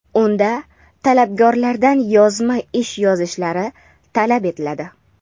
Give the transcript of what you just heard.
unda talabgorlardan yozma ish yozishlari talab etiladi.